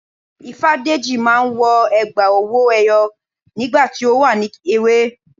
Ifádẹ́jì máa n wọ ègbá owó eyó nígbà tí o wà ní èwè